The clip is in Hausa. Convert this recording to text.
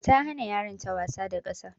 Ta hana yaran ta wasa da ƙasa.